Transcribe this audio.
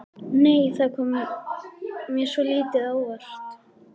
Nei! Það kom mér svolítið á óvart!